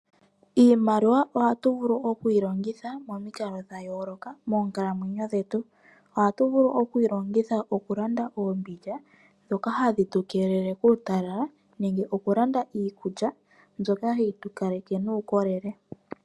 Iimaliwa ohatu vulu okuyilongitha momikalo dhayooloka moonkalamwenyo dhetu. Ohatu vulu okuyi longitha okulanda oombindja dhoka hadhi tukelele kuutalala nenge okulanda iikulya mbyoka hayi tukaleke nuukolele.